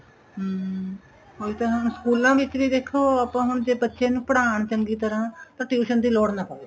ਹਮ ਉਹੀ ਤਾਂ ਹੈ ਹੁਣ ਸਕੂਲਾ ਵਿੱਚ ਵੀ ਦੇਖੋ ਆਪਾਂ ਹੁਣ ਜੇ ਬੱਚੇ ਨੂੰ ਪੜ੍ਹਾਣ ਚੰਗੀ ਤਰ੍ਹਾਂ ਪਰ tuition ਦੀ ਲੋੜ ਨਾ ਪਵੇ